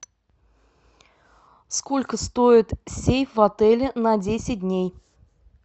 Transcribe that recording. сколько стоит сейф в отеле на десять дней